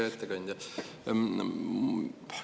Hea ettekandja!